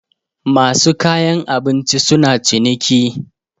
masu kayan abinci suna ciniki